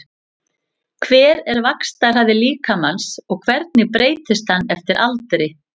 Hver er vaxtarhraði líkamans og hvernig breytist hann eftir aldri?